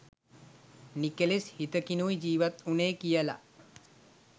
නිකෙලෙස් හිතකිනුයි ජීවත්වුනේ කියලා